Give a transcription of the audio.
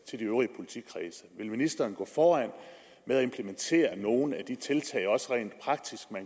til de øvrige politikredse vil ministeren gå foran og implementere nogle af de tiltag man også rent praktisk